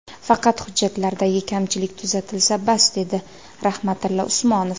Faqat hujjatlaridagi kamchilik tuzatilsa, bas”, dedi Rahmatilla Usmonov.